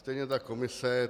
Stejně tak komise.